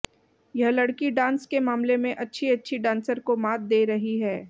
यह लड़की डांस के मामले में अच्छी अच्छी डांसर को मात दे रही है